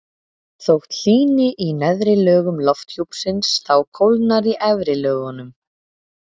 þótt hlýni í neðri lögum lofthjúpsins þá kólnar í efri lögunum